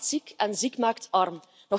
Arm maakt ziek en ziek maakt arm.